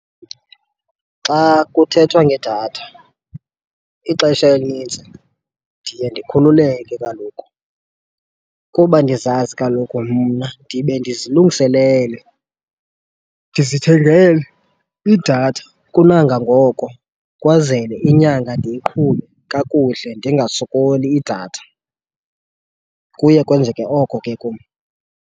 Xa kuthethwa ngedatha ixesha elinintsi ndiye ndikhululeke kaloku kuba ndizazi kaloku mna ndibe ndizilungiselele, ndizithengele idatha kunangangoko kwazele inyanga ndiyiqhube kakuhle ndingasokoli idatha. Kuye kwenzeke oko ke kum.